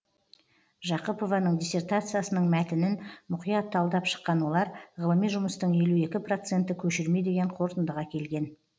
жақыпованың диссертациясының мәтінін мұқият талдап шыққан олар ғылыми жұмыстың елу екі проценті көшірме деген қорытындыға келген